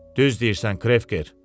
Düz deyirsən, Krevker.